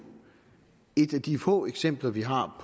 et af de få eksempler vi har